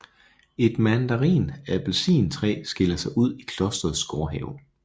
Et mandarin appelsin træ skiller sig ud i klosterets gårdhave